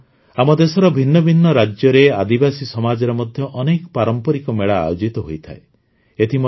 ବନ୍ଧୁଗଣ ଆମ ଦେଶର ଭିନ୍ନ ଭିନ୍ନ ରାଜ୍ୟରେ ଆଦିବାସୀ ସମାଜରେ ମଧ୍ୟ ଅନେକ ପାରମ୍ପରିକ ମେଳା ଆୟୋଜିତ ହୋଇଥାଏ